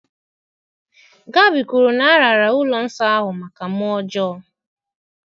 Gabi kwuru na a raara ụlọ nsọ ahụ maka mmụọ ọjọọ.